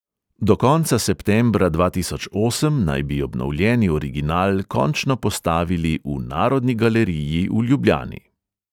Do konca septembra dva tisoč osem naj bi obnovljeni original končno postavili v narodni galeriji v ljubljani.